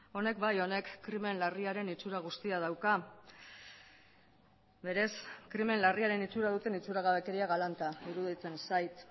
honek bai honek krimen larriaren itsura guztia dauka berez krimen larriaren itsura duten itxuragabekeria galanta iruditzen zait